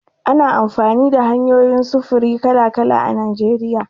Ana amfani da hanyoyin sufuri kala-kala a Najeriya.